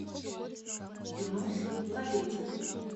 юнус лалетин